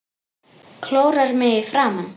Klórar mig í framan.